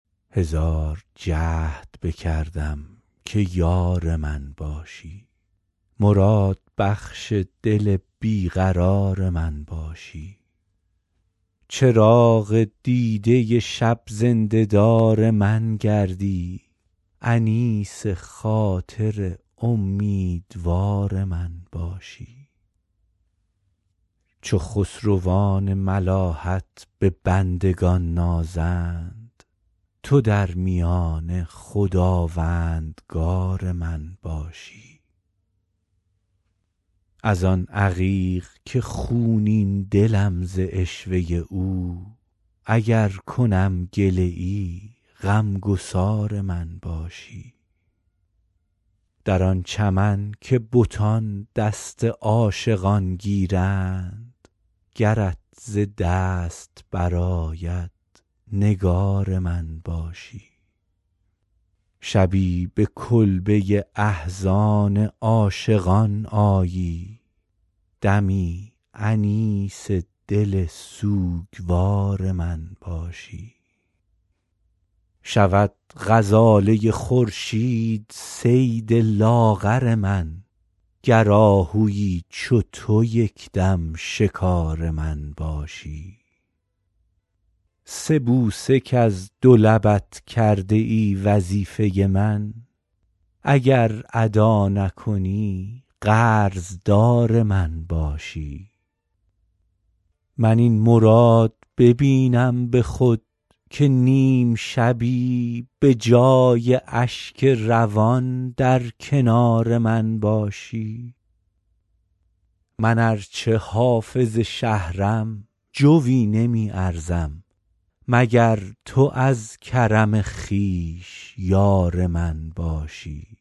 هزار جهد بکردم که یار من باشی مرادبخش دل بی قرار من باشی چراغ دیده شب زنده دار من گردی انیس خاطر امیدوار من باشی چو خسروان ملاحت به بندگان نازند تو در میانه خداوندگار من باشی از آن عقیق که خونین دلم ز عشوه او اگر کنم گله ای غم گسار من باشی در آن چمن که بتان دست عاشقان گیرند گرت ز دست برآید نگار من باشی شبی به کلبه احزان عاشقان آیی دمی انیس دل سوگوار من باشی شود غزاله خورشید صید لاغر من گر آهویی چو تو یک دم شکار من باشی سه بوسه کز دو لبت کرده ای وظیفه من اگر ادا نکنی قرض دار من باشی من این مراد ببینم به خود که نیم شبی به جای اشک روان در کنار من باشی من ار چه حافظ شهرم جویی نمی ارزم مگر تو از کرم خویش یار من باشی